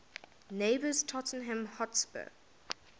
neighbours tottenham hotspur